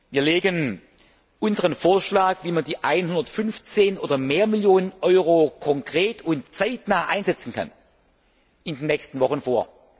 Wir legen unseren Vorschlag, wie man die 115 oder mehr Millionen Euro konkret und zeitnah einsetzen kann, in den nächsten Wochen vor.